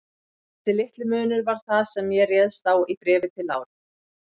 Þessi litli munur var það, sem ég réðst á í Bréfi til Láru.